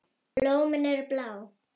Blómin eru blá.